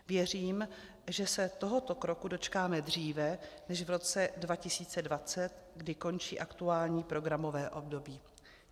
Věřím, že se tohoto kroku dočkáme dříve než v roce 2020, kdy končí aktuální programové období.